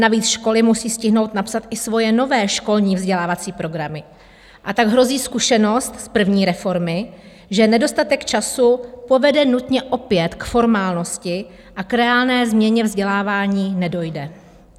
Navíc školy musí stihnout napsat i svoje nové školní vzdělávací programy, a tak hrozí zkušenost z první reformy, že nedostatek času povede nutně opět k formálnosti a k reálné změně vzdělávání nedojde.